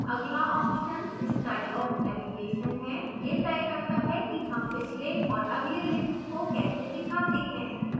अगला option style of navigation है यह the करता है कि हम पिछले और अगले links को कैसे दिखाते हैं